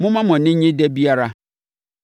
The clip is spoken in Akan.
Momma mo ani nnye da biara